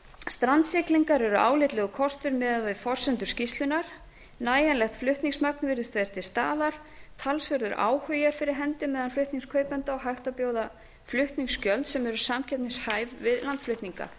strandsiglingar eru álitlegur kostur miðað við forsendur skýrslunnar nægjanlegt flutningsmagn virðist vera til staðar talsverður áhugi er fyrir hendi meðal flutningskaupenda og hægt er að bjóða flutningsgjöld sem eru samkeppnishæf við landflutninga